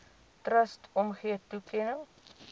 trust omgee toekenning